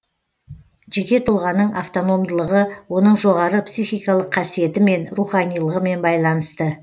жеке тұлғаның автономдылығы оның жоғары психикалық қасиетімен руханилығымен байланысты